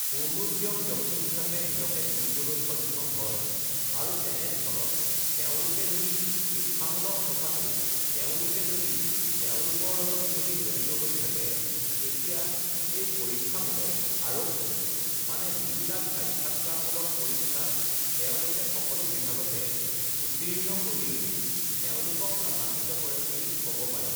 uhh পূৰ্ণোদ্যম ব্যক্তি হিচাপে নিজকে তুলিবলৈ সক্ষম হয় আৰু তেনেস্থলত তেওঁলোকে যদি শিক্ষামূলক কথাটো তেওঁলোকে যদি তেওঁলোকৰ লগত যদি জড়়িত হৈ থাকে তেতিয়া এই পৰীক্ষামূলক আৰক্ষী মানে যিবিলাক সাক্ষাৎকাৰমূলক পৰীক্ষাত তেওঁলোকে সকলো বিভাগতে উত্তীৰ্ণ কৰি তেওঁলোকক লাভাম্বিত কৰে বুলি ক'ব পাৰি